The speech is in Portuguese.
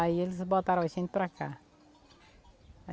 Aí eles botaram a gente para cá.